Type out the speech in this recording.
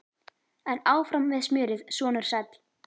En áfram með smjörið, sonur sæll!